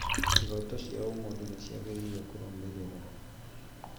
Ihoto cia ũmũndũ ciagĩrĩire kũrũmĩrĩrwo